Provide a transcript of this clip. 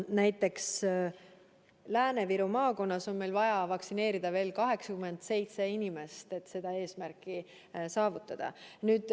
Näiteks Lääne-Viru maakonnas on meil vaja vaktsineerida veel 87 inimest, et seda eesmärki saavutada.